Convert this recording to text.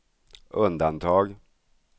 undantag